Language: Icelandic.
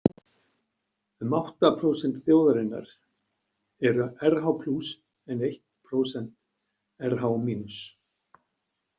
Um átta prósent þjóðarinnar eru Rh-plús en eitt prósent Rh-mínus.